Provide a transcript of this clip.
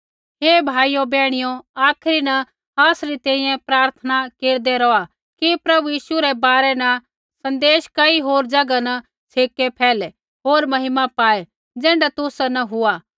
हे भाइयो बैहणियो आखरी न आसरी तैंईंयैं प्रार्थना केरदै रौहा कि प्रभु यीशु रै बारै न सन्देश कई होर ज़ैगा न छ़ेकै फैलै होर महिमा पाऐ ज़ैण्ढा तुसा न हुआ